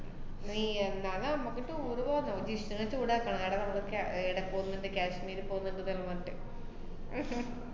നീ ന്നാ നമ്മക്ക് tour പോകുന്നോ, ജിഷ്ണുനെ ചൂടാക്കാ എടാ നമ്മക്ക് ക്യാ~ ഏർ ഏടെ പോന്നുണ്ട് കാശ്മീരി പോന്നുണ്ട് ~ന്നക്കെ പറഞ്ഞിട്ട്